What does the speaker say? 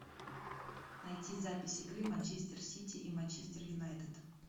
найти запись игры манчестер сити и манчестер юнайтед